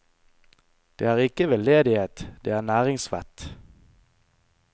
Det er ikke veldedighet, det er næringsvett.